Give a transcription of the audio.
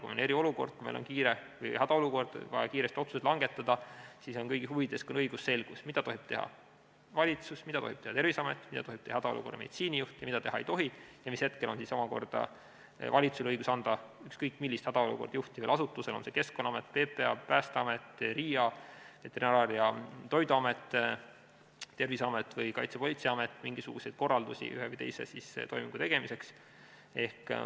Kui on eriolukord või hädaolukord, on kiire, on vaja kiiresti otsuseid langetada, siis on kõigi huvides õigusselgus, mida tohib teha valitsus, mida tohib teha Terviseamet, mida tohib teha hädaolukorra meditsiinijuht ja mida nad teha ei tohi ja mis hetkel on omakorda valitsusel õigus anda ükskõik millisele hädaolukorda juhtivale asutusele, on see Keskkonnaamet, PPA, Päästeamet, RIA, Veterinaar- ja Toiduamet, Terviseamet või Kaitsepolitseiamet, mingisuguseid korraldusi ühe või teise toimingu tegemiseks.